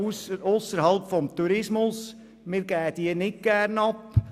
Diese geben wir nicht gerne ab.